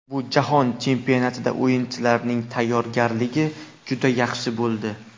Bu jahon chempionatida o‘yinchilarning tayyorgarligi juda yaxshi bo‘ldi.